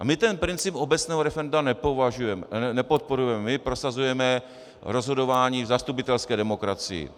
A my ten princip obecného referenda nepodporujeme, my prosazujeme rozhodování v zastupitelské demokracii.